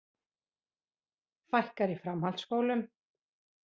Fækkar í framhaldsskólum